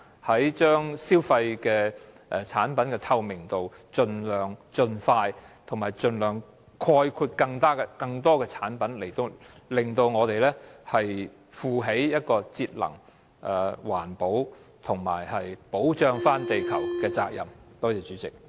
提高產品的資訊透明度的計劃應盡量及盡快涵蓋更多產品，令我們負起節能、環保和保護地球的責任。